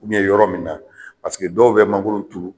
yɔrɔ min na paseke dɔw bɛ mangoro turu